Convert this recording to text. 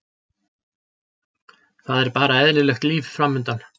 Það er bara eðlilegt líf framundan.